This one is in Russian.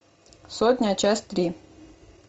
сотня часть три